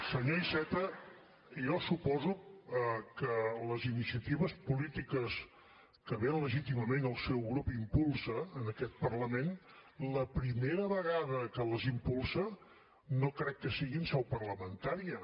senyor iceta jo suposo que les iniciatives polítiques que ben legítimament el seu grup impulsa en aquest parlament la primera vegada que les impulsa no crec que sigui en seu parlamentària